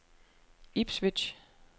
Ipswich